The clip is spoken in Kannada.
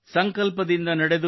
ಸಂಕಲ್ಪದಿಂದ ನಡೆದು